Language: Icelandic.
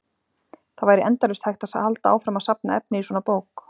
Það væri endalaust hægt að halda áfram að safna efni í svona bók.